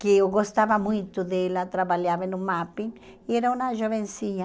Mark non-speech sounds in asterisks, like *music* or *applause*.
que eu gostava muito dela, trabalhava no, *unintelligible* e era uma jovenzinha.